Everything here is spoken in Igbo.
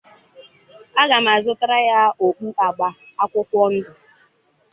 Aga m azụtara ya okpu agba akwụkwọ ndụ.